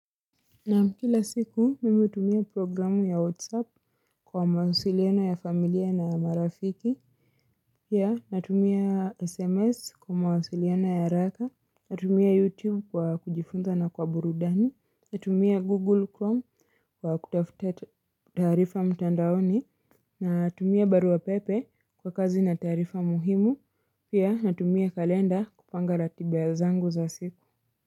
Na kila siku mimi hutumia programu ya whatsapp kwa mawasiliano ya familia na marafiki Pia natumia sms kwa mawasiliano ya haraka Natumia youtube kwa kujifunza na kwa burudani Natumia google chrome kwa kutafuta taarifa mtandaoni Natumia barua pepe kwa kazi na taarifa muhimu Pia natumia kalenda kupanga ratiba zangu za siku.